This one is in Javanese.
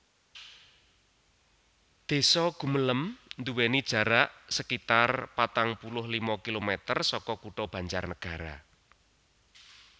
Désa Gumelem nduwèni jarak sekitar patang puluh lima kilomèter saka Kutha Banjarnagara